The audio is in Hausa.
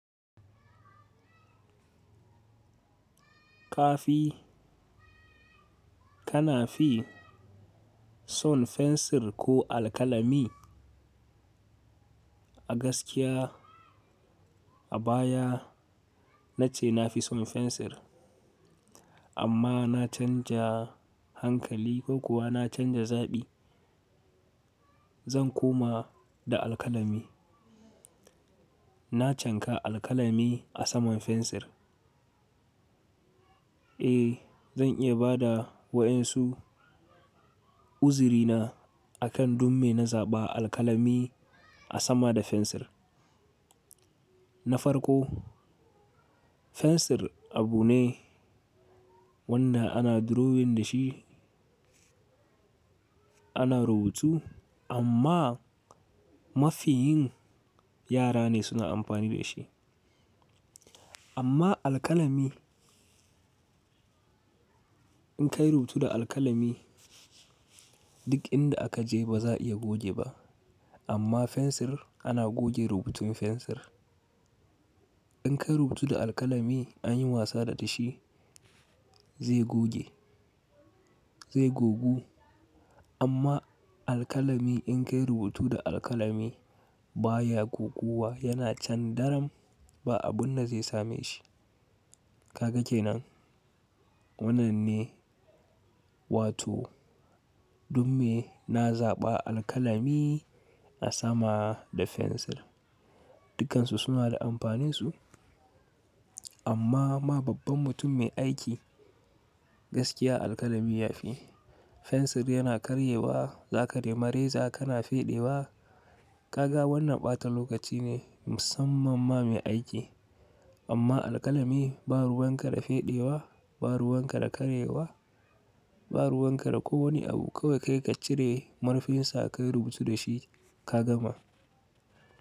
Kafi, kanafi son fensir ko alkalami? A gaskiya a baya nace nafi son fensir amma na canja hankali ko kuwa na canja zaɓi. Zan koma da alkalami. Na canka alkalami a saman fensir. Eh, zan iya ba da wa'insu uzirina akan dumme na zaɓa alkalami a sama da fensir. Na farko fensir abu ne wanda ana drawing da shi, ana rubutu amma mafiyin yara ne suna amfani da shi. Amma alkalami in ka yi rubutu da alkalami duk inda a ka je baza iya goge ba amma fensir ana goge rubutun fensir. In ka yi rubutu da alkalami anyi wasa da shi zai goge, zai gogu. Amma alkalami in ka yi rubutu da alkalami baya goguwa yana can daren ba abun zai same shi. Ka ga kenan? Wannan ne, wato dumme na zaɓa alkalami a sama da fensir. Dukansu suna da amfaninsu amma ma babban mutum mai aiki gaskiya alkalami ya fi. Fensir yana karyewa zaka nema reza kana feɗewa. Gaga wannan ɓata lokaci ne musamman ma mai aiki. Amma alkalami ba ruwan kare feɗewa, ba ruwan kare karyewa, ba ruwan ka da ko wane abu kawai ka cire murfinsa ka yi rubutu da shi ka gama.